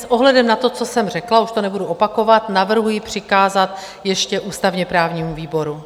S ohledem na to, co jsem řekla, už to nebudu opakovat, navrhuji přikázat ještě ústavně-právnímu výboru.